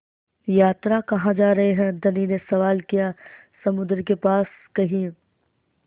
यात्रा कहाँ जा रहे हैं धनी ने सवाल किया समुद्र के पास कहीं